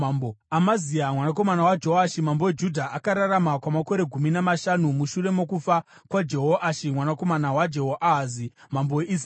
Amazia mwanakomana waJoashi mambo weJudha akararama kwamakore gumi namashanu mushure mokufa kwaJehoashi mwanakomana waJehoahazi mambo weIsraeri.